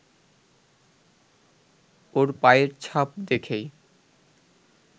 ওর পায়ের ছাপ দেখেই